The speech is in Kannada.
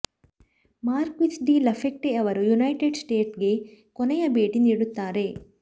ಮಾರ್ಕ್ವಿಸ್ ಡಿ ಲಫಯೆಟ್ಟೆ ಅವರು ಯುನೈಟೆಡ್ ಸ್ಟೇಟ್ಸ್ಗೆ ಕೊನೆಯ ಭೇಟಿ ನೀಡುತ್ತಾರೆ